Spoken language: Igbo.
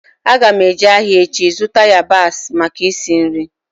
Aga m eje ahịa echi zụta yabasị maka isi nri